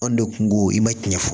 Anw de kungo i ma cɛn